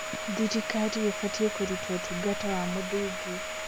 Thirikari ĩbatiĩ kũruta ũtungata wa mũthingi.